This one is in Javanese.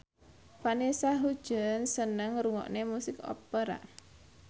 Vanessa Hudgens seneng ngrungokne musik opera